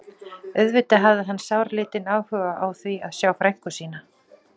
Auðvitað hafði hann sáralítinn áhuga á því að sjá frænku sína.